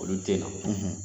Olu tɛ na